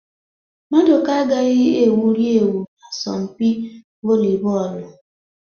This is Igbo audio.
Maduka agaghị egwuri egwu n'asọmpi volibọọlụ